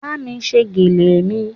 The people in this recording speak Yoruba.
Bámi ṣe gèlè mi